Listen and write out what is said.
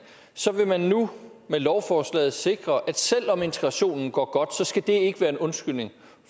så vil man nu med lovforslaget sikre at selv om integrationen går godt skal det ikke være en undskyldning